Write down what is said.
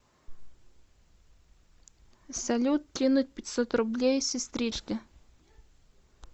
салют кинуть пятьсот рублей сестричке